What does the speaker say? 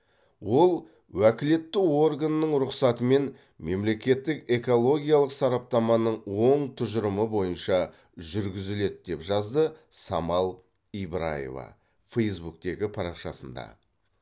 ол уәкілетті органның рұқсатымен мемлекеттік экологиялық сараптаманың оң тұжырымы бойынша жүргізіледі деп жазды самал ибраева фейзбуктегі парақшасында